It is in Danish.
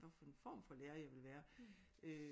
Hvad for en form for lærer jeg ville være øh